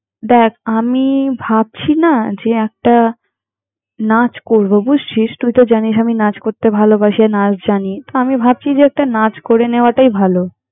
দ্যাখ, আমি ভাবছি নাহ! যে একটা নাচ করব বুঝছিস! তুই তো জানিস আমি নাচ করতে ভালোবাসি আর নাচ জানি তো আমি ভাবছি যে, একটা নাচ করে নেওয়াটাই ভালো।